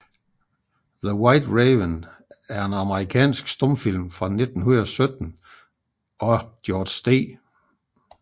The White Raven er en amerikansk stumfilm fra 1917 af George D